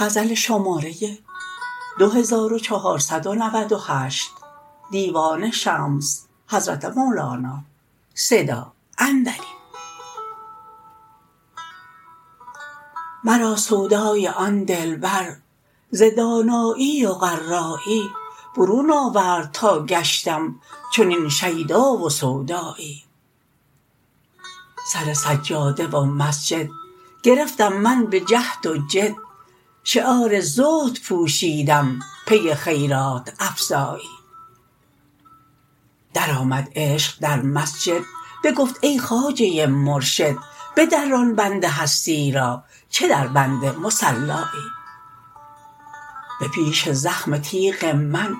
مرا سودای آن دلبر ز دانایی و قرایی برون آورد تا گشتم چنین شیدا و سودایی سر سجاده و مسند گرفتم من به جهد و جد شعار زهد پوشیدم پی خیرات افزایی درآمد عشق در مسجد بگفت ای خواجه مرشد بدران بند هستی را چه دربند مصلایی به پیش زخم تیغ من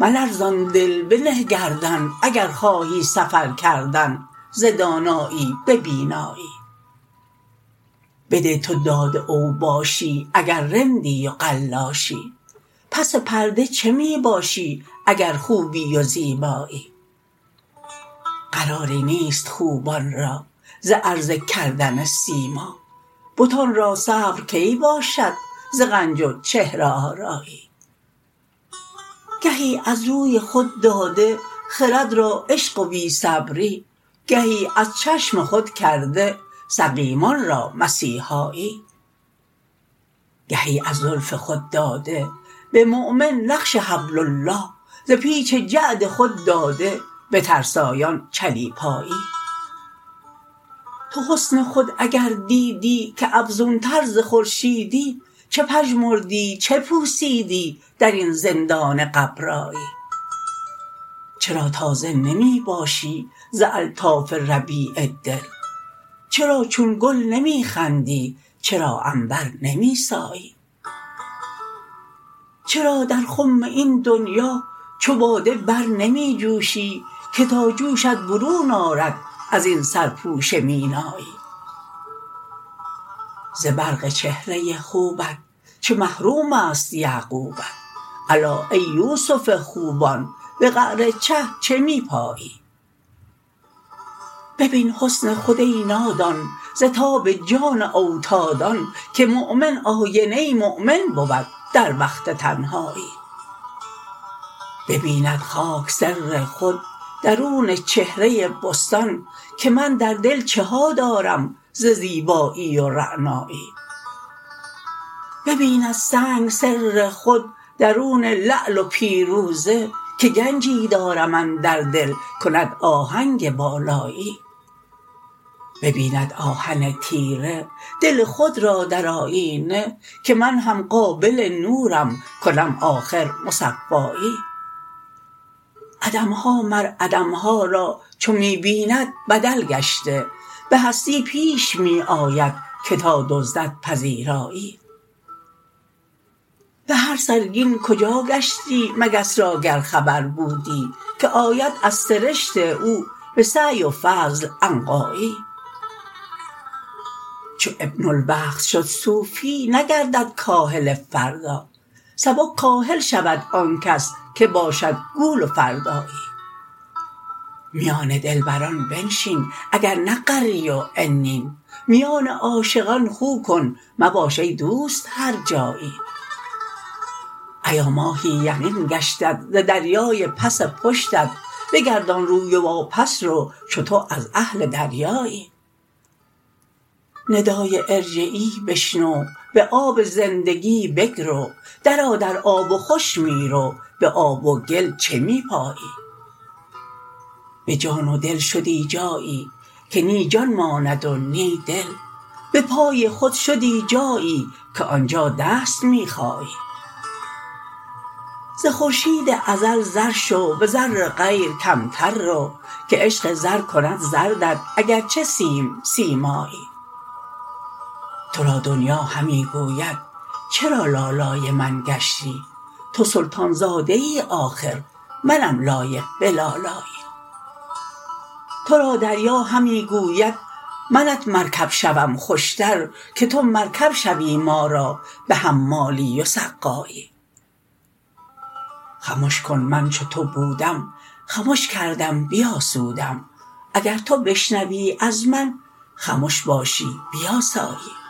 ملرزان دل بنه گردن اگر خواهی سفر کردن ز دانایی به بینایی بده تو داد اوباشی اگر رندی و قلاشی پس پرده چه می باشی اگر خوبی و زیبایی فراری نیست خوبان را ز عرضه کردن سیما بتان را صبر کی باشد ز غنج و چهره آرایی گهی از روی خود داده خرد را عشق و بی صبری گهی از چشم خود کرده سقیمان را مسیحایی گهی از زلف خود داده به مؤمن نقش حبل الله ز پیچ جعد خود داده به ترسایان چلیپایی تو حسن خود اگر دیدی که افزونتر ز خورشیدی چه پژمردی چه پوسیدی در این زندان غبرایی چرا تازه نمی باشی ز الطاف ربیع دل چرا چون گل نمی خندی چرا عنبر نمی سایی چرا در خم این دنیا چو باده بر نمی جوشی که تا جوشت برون آرد از این سرپوش مینایی ز برق چهره خوبت چه محروم است یعقوبت الا ای یوسف خوبان به قعر چه چه می پایی ببین حسن خود ای نادان ز تاب جان او تا دان که مؤمن آینه مؤمن بود در وقت تنهایی ببیند خاک سر خود درون چهره بستان که من در دل چه ها دارم ز زیبایی و رعنایی ببیند سنگ سر خود درون لعل و پیروزه که گنجی دارم اندر دل کند آهنگ بالایی ببیند آهن تیره دل خود را در آیینه که من هم قابل نورم کنم آخر مصفایی عدم ها مر عدم ها را چو می بیند به دل گشته به هستی پیش می آید که تا دزدد پذیرایی به هر سرگین کجا گشتی مگس را گر خبر بودی که آید از سرشت او به سعی و فضل عنقایی چو ابن الوقت شد صوفی نگردد کاهل فردا سبک کاهل شود آن کس که باشد گول و فردایی میان دلبران بنشین اگر نه غری و عنین میان عاشقان خو کن مباش ای دوست هرجایی ایا ماهی یقین گشتت ز دریای پس پشتت بگردان روی و واپس رو چو تو از اهل دریایی ندای ارجعی بشنو به آب زندگی بگرو درآ در آب و خوش می رو به آب و گل چه می پایی به جان و دل شدی جایی که نی جان ماند و نی دل به پای خود شدی جایی که آن جا دست می خایی ز خورشید ازل زر شو به زر غیر کمتر رو که عشق زر کند زردت اگر چه سیم سیمایی تو را دنیا همی گوید چرا لالای من گشتی تو سلطان زاده ای آخر منم لایق به لالایی تو را دریا همی گوید منت مرکب شوم خوشتر که تو مرکب شوی ما را به حمالی و سقایی خمش کن من چو تو بودم خمش کردم بیاسودم اگر تو بشنوی از من خمش باشی بیاسایی